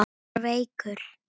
Hann var veikur.